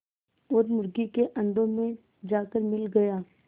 और मुर्गी के अंडों में जाकर मिल गया